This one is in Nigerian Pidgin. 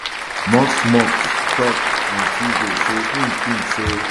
musk musk tok on tuesday say im tink say